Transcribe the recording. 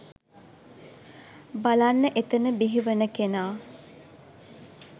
බලන්න එතන බිහි වන කෙනා